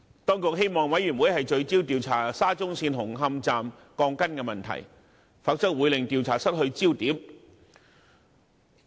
當局希望委員會聚焦調查沙中線紅磡站的鋼筋問題，否則會令調查失去焦點。